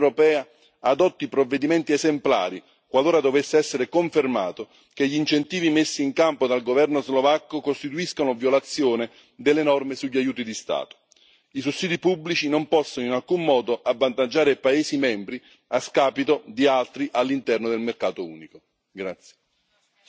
Mi aspetto quindi che la Commissione europea adotti provvedimenti esemplari, qualora dovesse essere confermato che gli incentivi messi in campo dal governo slovacco costituiscono una violazione delle norme sugli aiuti di Stato. I sussidi pubblici non possono in alcun modo avvantaggiare alcuni paesi membri a scapito di altri all'interno del mercato unico.